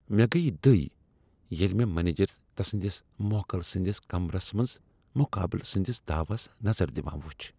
مےٚ گٔیہ دٕے ییٚلہ مےٚ مینجر تسندس موکل سٕندس کمرس منٛز مقابل سنٛدس داوس نظر دوان وچھ۔